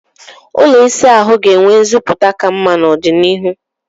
ụlọ ịsa ahụ ga-enwe nziputa ka mma n'ọdịnihu.